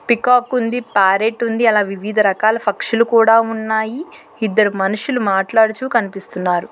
Peacock ఉంది parrot ఉంది అలా వివిధ రకాల ఫక్షులు కూడా ఉన్నాయి ఇద్దరు మనుషులు మాట్లాడుచూ కన్పిస్తున్నారు.